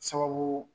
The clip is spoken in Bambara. Sababu